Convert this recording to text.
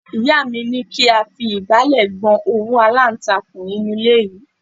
Ìyá mi ní kí a fi igbale gbọn òwú alantakun inú ilé yìí.